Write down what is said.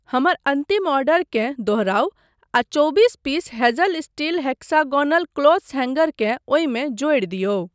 हमर अन्तिम ऑर्डरकेँ दोहराउ आ चौबीस piece hazel steel hexagonal clothes हैंगरकेँ ओहिमे जोड़ि दियौ।